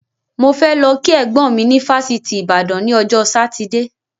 Mo fẹ lọ kí ẹ̀gbọ́n mi ni fásitì Ìbàdàn ni ọjọ́ Sátidé